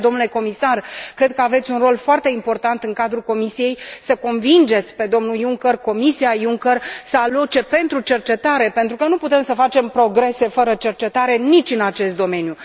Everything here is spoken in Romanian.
De aceea, domnule comisar, cred că aveți un rol foarte important în cadrul Comisiei să îl convingeți pe domnul Junker și comisia Junker să aloce pentru cercetare, pentru că nu putem să facem progrese fără cercetare nici în acest domeniu.